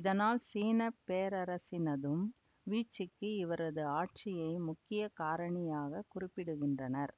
இதனால் சீன பேரரசினதும் வீழ்ச்சிக்கு இவரது ஆட்சியை முக்கிய காரணியாகக் குறிப்பிடுகின்றனர்